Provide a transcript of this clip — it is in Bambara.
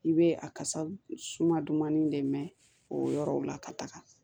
I bɛ a kasa suma dumannin de mɛn o yɔrɔw la ka taga